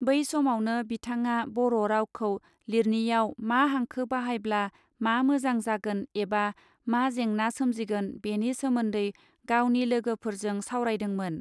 बै समावनो बिथाडा बर रावखौ लिरनिइयाव मा हांखो बाहायब्ला मा मोजां जागोन ऐबा मा जेंना सोमजिगोन बेनि सोमोन्दै गावनि लोगोफोरजों सावरायदोंमोन.